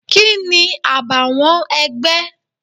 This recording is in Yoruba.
Kini àbàwọ́n ẹgbẹ́?